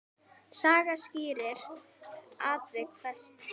Saga skýrir atvik flest.